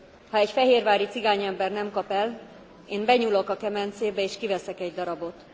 Ha egy fehérvári cigány ember nem kap el, én benyúlok a kemencébe és kiveszek egy darabot.